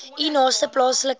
u naaste plaaslike